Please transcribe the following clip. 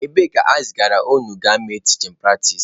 Ebee ka ezigara unu gaa mee tichin pratis?